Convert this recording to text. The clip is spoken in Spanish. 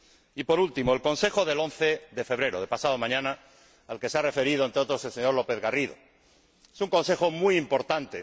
Y, por último, el Consejo del 11 de febrero, de pasado mañana, al que se ha referido, entre otros, el señor López Garrido, es un Consejo muy importante.